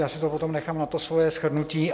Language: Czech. Já si to potom nechám na to své shrnutí.